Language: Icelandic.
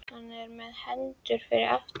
Hann er með hendurnar fyrir aftan bak.